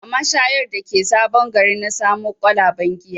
A mashayar da ke sabon gari na samo kwalaben giya